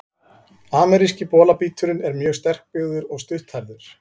Ameríski bolabíturinn er mjög sterkbyggður og stutthærður.